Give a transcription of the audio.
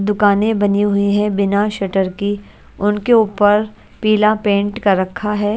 दुकाने बनी हुई है बिना शटर की उनके ऊपर पीला पेट का रखा है।